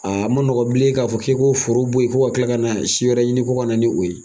Aa ma nɔgɔn bilen k'a fɔ k'i k'o foro bo ye fo ka tila kana si wɛrɛ ɲini ko kana ni o ye.